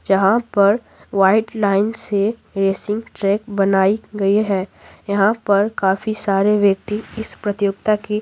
जहाँ पर white line से रेसिंग ट्रैक बनाई गई है यहां पर काफी सारे व्यक्ति इस प्रतियोगिता की--